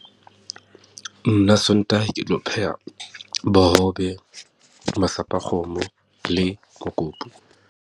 Nna Sontaha, ke tlo pheha bohobe, masapo a kgomo le mokopu.